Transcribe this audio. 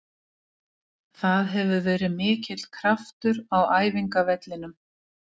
Það hefur verið mikill kraftur á æfingavellinum.